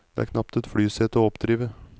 Det er knapt et flysete å oppdrive.